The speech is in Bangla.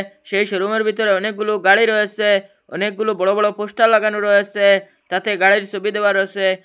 সেই শোরুমে র বিতরে অনেকগুলো গাড়ি রয়েসে অনেকগুলো বড়ো বড়ো পোস্টার লাগানো রয়েসে তাতে গাড়ির সবি দেওয়া রয়েসে ।